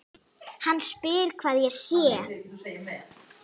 Hann spyr hvar ég sé.